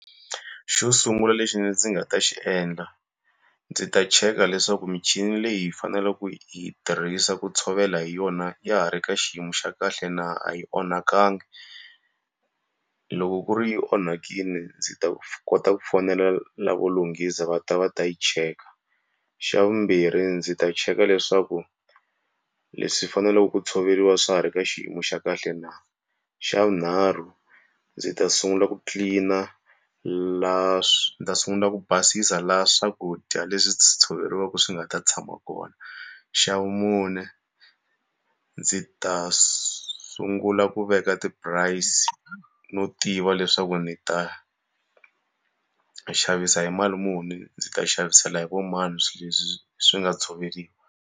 Xo sungula lexi ndzi nga ta xi endla, ndzi ta cheka leswaku michini leyi hi faneleke ku yi tirhisa ku tshovela hi yona ya ha ri ka xiyimo xa kahle na a yi onhakangi. Loko ku ri yi onhakile ndzi ta kota ku fonela lavo lunghisa va ta va ta yi cheka. Xa vumbirhi ndzi ta cheka leswaku leswi faneleke ku tshoveriwa swa ha ri ka xiyimo xa kahle na. Xa vunharhu ndzi ta sungula ku clean-a laha ni ta sungula ku basisa laha swakudya leswi swi tshoveriweke swi nga ta tshama kona. Xa vumune ndzi ta sungula ku veka ti-price no tiva leswaku ndzi ta xavisa hi mali muni, ndzi ta xavisela hi va mani swilo leswi swi nga tshoveriwa.